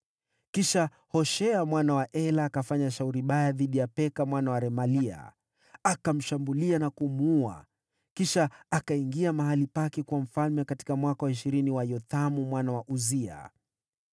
Kisha Hoshea mwana wa Ela akafanya shauri baya dhidi ya Peka mwana wa Remalia. Akamshambulia na kumuua, kisha akaingia mahali pake kuwa mfalme katika mwaka wa ishirini wa Yothamu mwana wa Uzia.